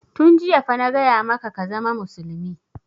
Tun jiya fa na gaya maka ka zama musulmi!